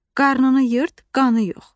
Qarnını yırt, qanı yox.